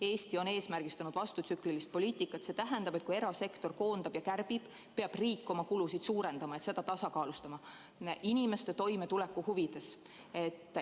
Eesti on eesmärgistanud vastutsüklilist poliitikat, see tähendab, et kui erasektor koondab ja kärbib, peab riik oma kulusid suurendama, et olukorda inimeste toimetuleku huvides tasakaalustada.